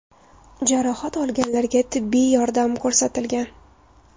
Jarohat olganlarga tibbiy yordam ko‘rsatilgan.